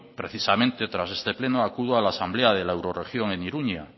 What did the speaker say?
precisamente tras este pleno acudo a la asamblea de la euroregión en iruña